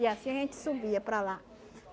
E assim a gente subia para lá.